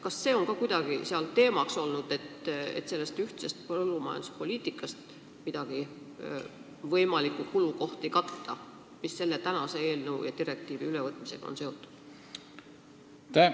Kas on kuidagi jutuks olnud, et ühise põllumajanduspoliitika raames tuleks katta võimalikke kulukohti, mis selle direktiivi ülevõtmisega on seotud?